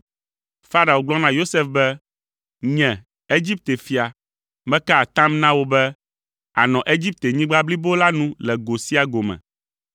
Farao gblɔ na Yosef be, “Nye, Egipte fia, meka atam na wò be, ànɔ Egiptenyigba blibo la nu le go sia go me.”